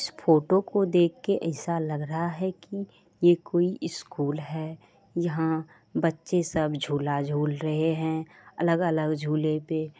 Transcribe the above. इस फोटो को देख के ऐसा लग रहा है कि ये कोई स्कूल है यहा बच्चे सब झूला झूल रहे है अलग-अलग झूले पे--